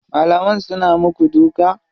Malaman suna muku duka?